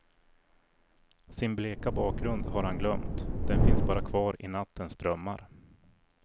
Sin bleka bakgrund har han glömt, den finns bara kvar i nattens drömmar.